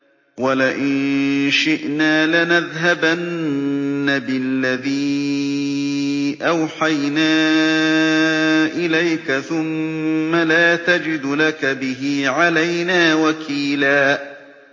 وَلَئِن شِئْنَا لَنَذْهَبَنَّ بِالَّذِي أَوْحَيْنَا إِلَيْكَ ثُمَّ لَا تَجِدُ لَكَ بِهِ عَلَيْنَا وَكِيلًا